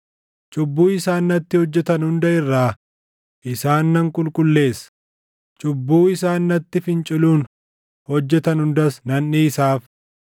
Cubbuu isaan natti hojjetan hunda irraa isaan nan qulqulleessa; cubbuu isaan natti finciluun hojjetan hundas nan dhiisaaf.